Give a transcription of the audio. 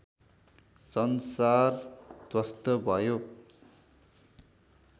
संसार ध्वस्त भयो